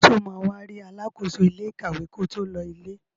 Sọ ma wá rí alákóso ilé ìkàwé ko tó lọ ilé?